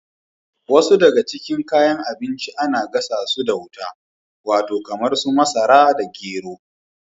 Wasu daga cikin kayan abinci ana gasa su da wuta. Wato kamar su masara da gero.